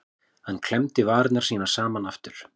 Hann klemmdi varirnar saman aftur.